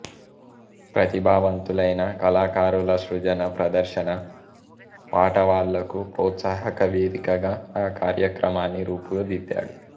ప్రతిభావంతులైన కళాకారుల సృజన ప్రదర్శనా పాటవాలకు ప్రోత్సాహక వేదికగా ఆ కార్యక్రమాన్ని రూపుదిద్దారు